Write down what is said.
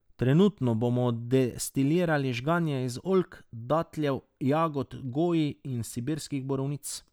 Trenutno bomo destilirali žganje iz oljk, datljev, jagod goji in sibirskih borovnic.